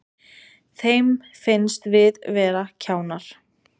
Þeim finnst við vera kjánar